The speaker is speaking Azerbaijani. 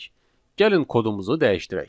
Gəlin kodumuzu dəyişdirək.